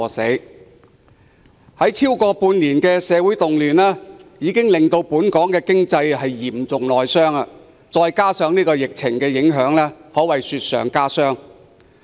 持續了超過半年的社會動亂，已經令本港經濟嚴重內傷，加上疫情的影響，可謂雪上加霜。